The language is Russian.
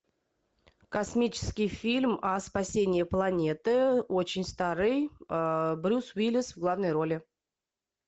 космический фильм о спасении планеты очень старый брюс уиллис в главной роли